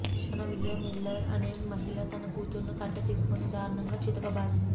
Shanavia Miller అనే మహిళ తన కూతురును కట్టె తీసుకొని దారుణంగా చితకబాదింది